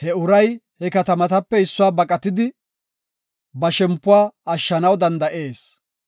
He uray he katamatape issuwau baqatidi ba shempuwa ashshanaw danda7ees.